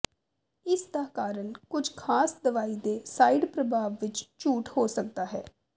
ਇਸ ਦਾ ਕਾਰਨ ਕੁਝ ਖਾਸ ਦਵਾਈ ਦੇ ਸਾਈਡ ਪ੍ਰਭਾਵ ਵਿੱਚ ਝੂਠ ਹੋ ਸਕਦਾ ਹੈ